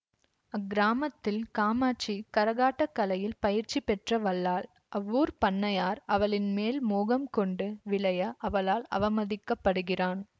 அக்கிராமத்தில் காமாட்சி கரகாட்டக் கலையில் பயிற்சி பெற்ற வல்லாள் அவ்வூர் பண்ணையார் அவளின் மேல் மோகம் கொண்டு விழைய அவளால் அவமதிக்கப்படுகிறான்